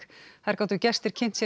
þar gátu gestir kynnt sér